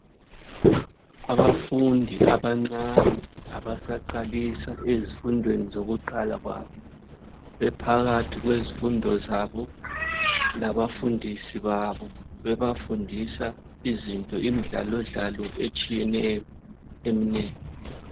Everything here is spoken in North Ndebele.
Abafundi abancane abasaqalisa ezifundweni zokuqala kwabo. Bephakathi kwezifundo zabo labafundisi babo, bebafundisa izinto imidlalo dlalo etshiyeneyo eminengi.